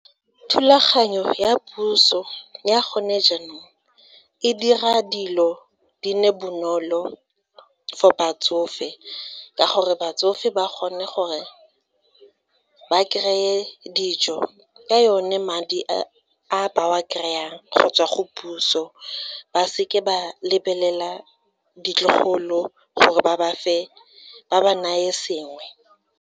Thulaganyo ya puso ya gone jaanong e dira dilo di nne bonolo for batsofe, ka gore batsofe ba gone gore ba kry-e dijo ka yone madi a ba wa kry-ang go tswa go puso, ba se ke ba lebelela ditlogolo gore ba ba fe ba ba neye sengwe.